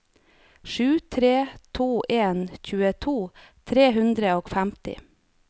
sju tre to en tjueto tre hundre og femti